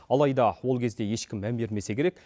алайда ол кезде ешкім мән бермесе керек